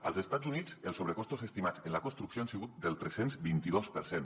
als estats units els sobrecostos estimats en la construcció han sigut del tres cents i vint dos per cent